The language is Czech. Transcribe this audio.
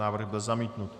Návrh byl zamítnut.